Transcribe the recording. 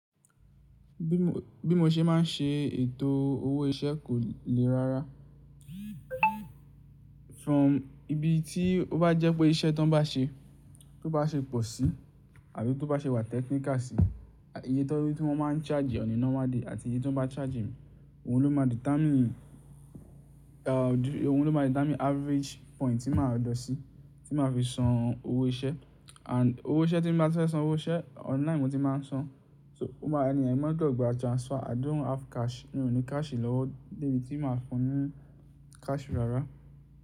Bí mo ṣe máa ń ṣe ètò owó iṣẹ́ kò lè rára. From ibi tí ó bá jẹ́ pé iṣẹ́ tan bá ṣe, tó bá ṣe pọ̀ sí àbí tó bá ṣe wà technical sí, iye to tí mo máa ń charge on a ńormal day àti iye tí wọ́n bá charge mi, òun ló máa determine, òun ló máa determine average point tí màá lọ sí, tí màá fi san owó iṣẹ́. And owó iṣẹ́ tí mo bá fẹ́ san owó iṣẹ́ online mo ti máa ń san. So ó máa ní ẹ̀yin máa gbọdọ̀ gbà transfer. I don't have cash. Mi ò ní cash lọ́wọ́. Débi tí màá fún ní cash rárá.